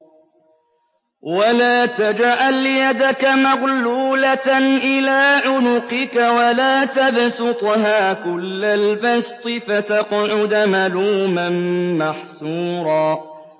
وَلَا تَجْعَلْ يَدَكَ مَغْلُولَةً إِلَىٰ عُنُقِكَ وَلَا تَبْسُطْهَا كُلَّ الْبَسْطِ فَتَقْعُدَ مَلُومًا مَّحْسُورًا